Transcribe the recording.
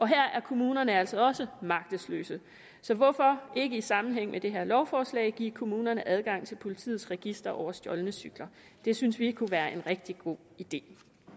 her er kommunerne altså også magtesløse så hvorfor ikke i sammenhæng med det her lovforslag give kommunerne adgang til politiets register over stjålne cykler det synes vi kunne være en rigtig god idé